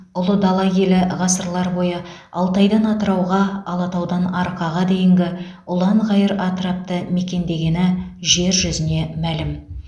ұлы дала елі ғасырлар бойы алтайдан атырауға алатаудан арқаға дейінгі ұлан ғайыр атырапты мекендегені жер жүзіне мәлім